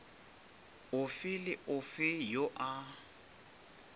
ofe le ofe yo a